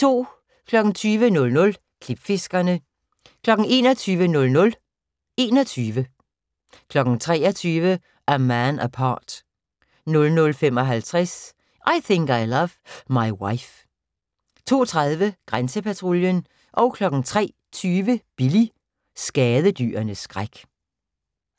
20:00: Klipfiskerne 21:00: 21 23:00: A Man Apart 00:55: I Think I Love My Wife 02:30: Grænsepatruljen 03:20: Billy – skadedyrenes skræk